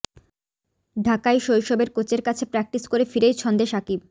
ঢাকায় শৈশবের কোচের কাছে প্র্যাক্টিস করে ফিরেই ছন্দে শাকিব